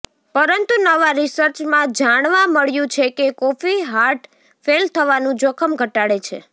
પરંતુ નવાં રિસર્ચમાં જાણવા મળ્યું છે કે કોફી હાર્ટ ફેલ થવાનું જોખમ ઘટાડે છે